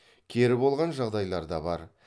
кері болған жағдайлар да бар